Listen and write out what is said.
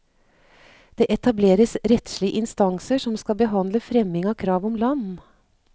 Det etableres rettslige innstanser som skal behandle fremming av krav om land.